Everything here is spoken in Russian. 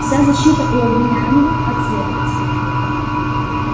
вся защита у обвиняемого от следователя